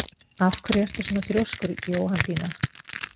Af hverju ertu svona þrjóskur, Jóhanndína?